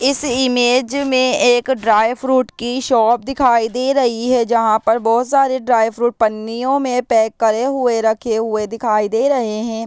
इस इमेज में एक ड्राय फ्रूट की शॉप दिखाई दे रही है जहां पर बहुत सारे ड्राय फ्रूट पन्नियों में पैक करे हुए रखे हुए दिखाई दे रहे है।